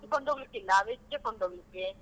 ಕೊಂಡೋಗ್ಲಿಕ್ಕಿಲ್ಲ veg ಜ್ಜೇ ಕೊಂಡೋಗ್ಲಿಕ್ಕೆ.